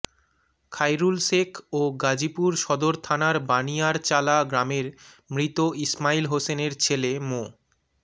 খাইরুল শেখ ও গাজীপুর সদর থানার বানিয়ারচালা গ্রামের মৃত ইসমাইল হোসেনের ছেলে মো